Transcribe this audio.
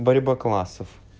борьба классов